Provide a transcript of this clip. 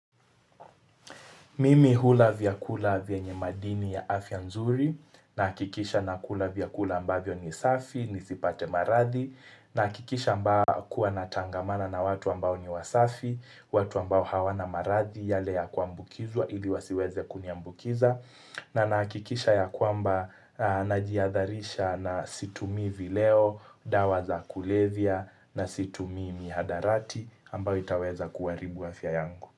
Mimi hula vyakula vyenye madini ya afya nzuri nahakikisha na kula vyakula ambavyo ni safi, nisipate maradhi nahakikisha amba kuwa natangamana na watu ambao ni wasafi, watu ambao hawana marathi yale ya kuambukizwa ili wasiweze kuniambukiza na nakikisha ya kwamba najihadharisha na situmi vileo, dawa za kulevya na situmi mihadarati ambayo itaweza kuharibu afya yangu.